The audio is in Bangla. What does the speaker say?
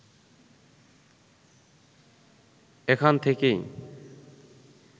এখান থেকেই